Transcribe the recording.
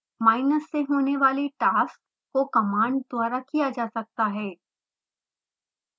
menus से होने वाली टास्कस को commands द्वारा किया जा सकता है